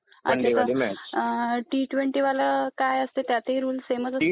अं T ट्वेंटीवालं काय असते? त्यातही रूल सेम असते का?